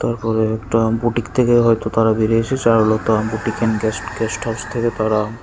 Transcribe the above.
ওপরে একটা বুটিক থেকে হয়তো তারা ফিরে Charulata boutique and guest guest house থেকে তারা।